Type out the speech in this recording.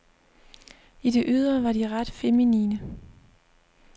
I det ydre var de ret feminine.